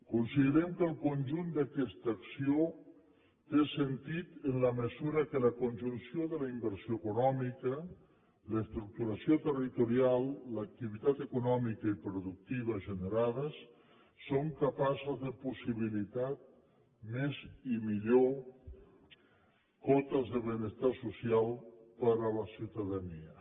considerem que el conjunt d’aquesta acció té sentit en la mesura que la conjunció de la inversió econòmica l’estructuració territorial l’activitat econòmica i productiva generades són capaces de possibilitar més i millor cotes de benestar social per a la ciutadania